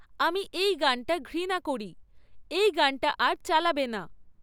আমি এই গানটা ঘৃণা করি। এই গানটা আর চালাবে না